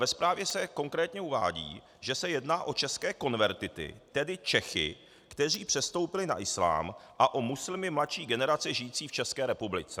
Ve zprávě se konkrétně uvádí, že se jedná o české konvertity, tedy Čechy, kteří přestoupili na islám, a o muslimy mladší generace žijící v České republice.